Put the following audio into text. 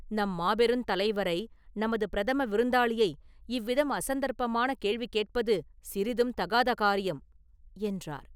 "நம் மாபெருந் தலைவரை, நமது பிரதம விருந்தாளியை, இவ்விதம் அசந்தர்ப்பமான கேள்வி கேட்பது சிறிதும் தகாத காரியம்…” என்றார்.